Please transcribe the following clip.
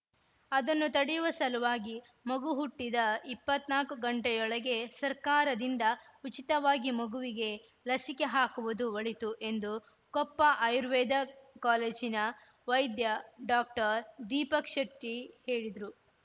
ಅದನ್ನು ತಡೆಯುವ ಸಲುವಾಗಿ ಮಗು ಹುಟ್ಟಿದ ಇಪ್ಪತ್ತ್ ನಾಲ್ಕು ಗಂಟೆಯೊಳಗೆ ಸರ್ಕಾರದಿಂದ ಉಚಿತವಾಗಿ ಮಗುವಿಗೆ ಲಸಿಕೆ ಹಾಕುವುದು ಒಳಿತು ಎಂದು ಕೊಪ್ಪ ಆಯುರ್ವೇದ ಕೋಲೇಜಿನ ವೈದ್ಯ ಡಾಕ್ಟರ್ ದೀಪಕ್‌ ಶೆಟ್ಟಿಹೇಳಿದ್ರು